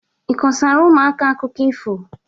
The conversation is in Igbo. Ị kọsara ụmụaka akụkọ ifo?